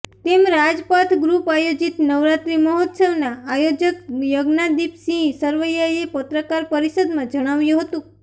તેમ રાજપથ ગૃપ આયોજિત નવરાત્રિ મહોત્સવના આયોજક યજ્ઞાદિપસિંહ સરવૈયાએ પત્રકાર પરિષદમાં જણાવ્યુ હતું